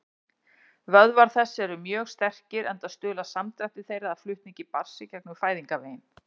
Vöðvar þess eru mjög sterkir, enda stuðla samdrættir þeirra að flutningi barns í gegnum fæðingarveginn.